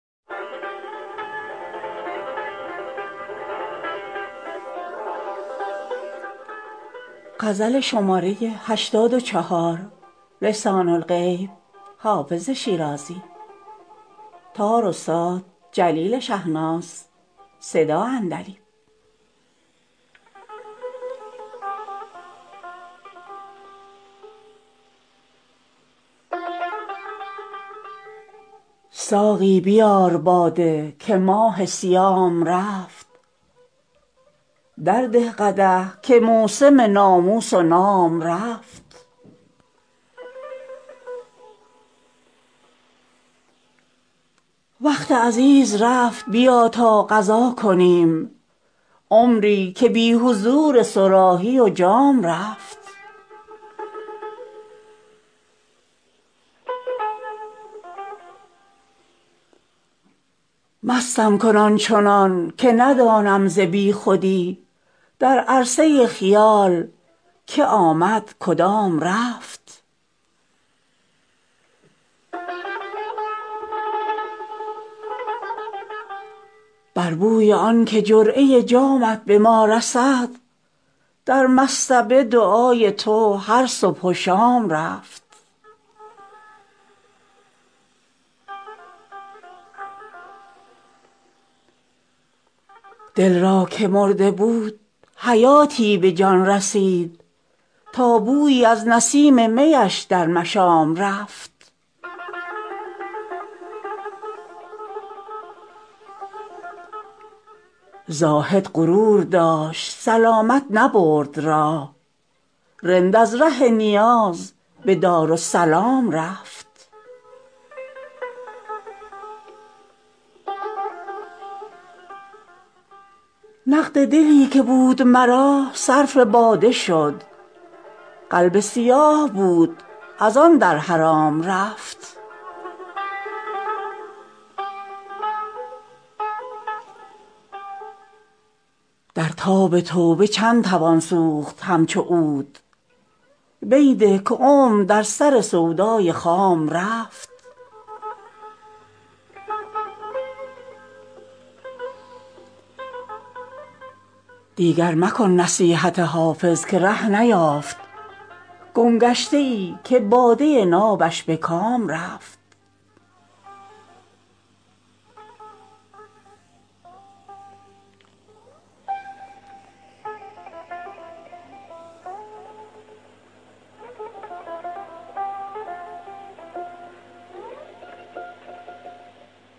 ساقی بیار باده که ماه صیام رفت درده قدح که موسم ناموس و نام رفت وقت عزیز رفت بیا تا قضا کنیم عمری که بی حضور صراحی و جام رفت مستم کن آن چنان که ندانم ز بی خودی در عرصه خیال که آمد کدام رفت بر بوی آن که جرعه جامت به ما رسد در مصطبه دعای تو هر صبح و شام رفت دل را که مرده بود حیاتی به جان رسید تا بویی از نسیم می اش در مشام رفت زاهد غرور داشت سلامت نبرد راه رند از ره نیاز به دارالسلام رفت نقد دلی که بود مرا صرف باده شد قلب سیاه بود از آن در حرام رفت در تاب توبه چند توان سوخت همچو عود می ده که عمر در سر سودای خام رفت دیگر مکن نصیحت حافظ که ره نیافت گمگشته ای که باده نابش به کام رفت